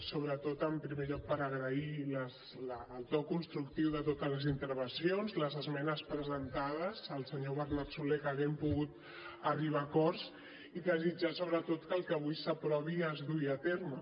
sobretot en primer lloc per agrair el to constructiu de totes les intervencions les esmenes presentades al senyor bernat solé que haguem pogut arribar a acords i desitjar sobretot que el que avui s’aprovi es dugui a terme